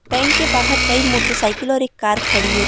bank के बाहर कई मोटरसाइकिल और एक कार खड़ी --